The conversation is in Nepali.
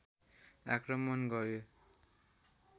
आक्रमण गर्‍यो